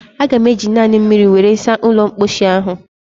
Aga m eji naanị mmiri were saa ụlọ mposi ahụ